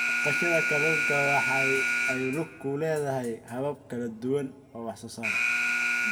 Dhaqashada kalluunka waxa ay ku lug leedahay habab kala duwan oo wax soo saar.